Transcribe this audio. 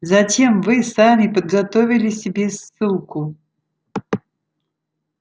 зачем вы сами подготовили себе ссылку